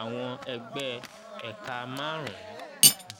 àwọn ẹgbẹ́/ẹ̀ka márùn-ún. um